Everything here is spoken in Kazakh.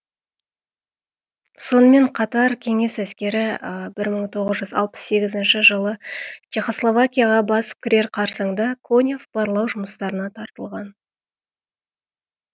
сонымен қатар кеңес әскері бір мың тоғыз жүз алпыс сегізінші жылы чехословакияға басып кірер қарсаңда конев барлау жұмыстарына тартылған